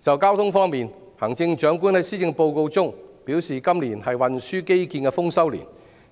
就交通方面，行政長官在施政報告中表示，今年是運輸基建的豐收年，